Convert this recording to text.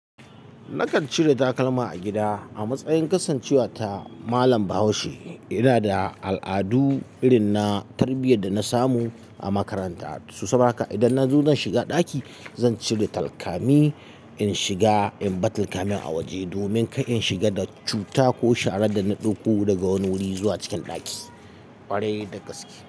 Nakan cire takalma a gida a matsayin kasancewata malam Bahaushe. Ina da al'adu irin na tarbiyyar da na samu a makaranta. Toh saboda haka idan nazo zan shiga ɗaki, zan cire takalmi in shiga, in bar takalmin a waje domin kar in shiga da cuta ko sharar da na ɗauko daga wani wuri zuwa cikin ɗaki, ƙwarai da gaske.